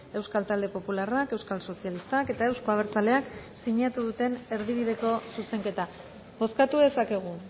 euskal talde popularrak euskal sozialistak eta euzko abertzaleak sinatu duten erdibideko zuzenketa bozkatu dezakegu